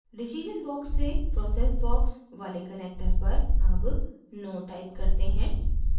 decision box से process box वाले connector पर अब no type करते हैं